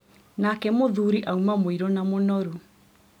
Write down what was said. nake mũthũri auma mũirũ na mũnoru.